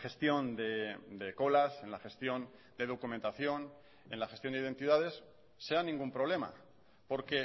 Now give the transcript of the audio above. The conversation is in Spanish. gestión de colas en la gestión de documentación en la gestión de identidades sea ningún problema porque